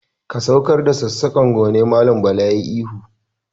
"Ka saukar da sassaƙar, ggone Mallam Bala yayi ihu.